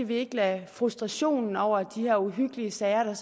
vi ikke lader frustrationen over de her uhyggelige sager der